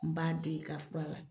N b'a den ka fura kɛ